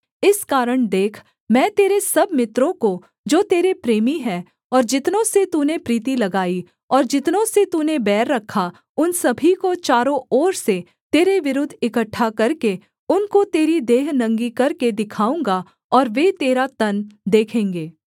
इस कारण देख मैं तेरे सब मित्रों को जो तेरे प्रेमी हैं और जितनों से तूने प्रीति लगाई और जितनों से तूने बैर रखा उन सभी को चारों ओर से तेरे विरुद्ध इकट्ठा करके उनको तेरी देह नंगी करके दिखाऊँगा और वे तेरा तन देखेंगे